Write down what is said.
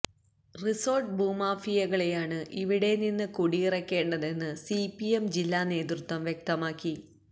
resort ഭൂമാഫിയകളെയാണ് ഇവിടെനിന്ന് കുടിയിറക്കേണ്ടതെന്ന് സിപിഎം ജില്ലാ നേതൃത്വം വ്യക്തമാക്കി